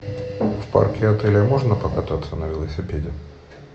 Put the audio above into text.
в парке отеля можно покататься на велосипеде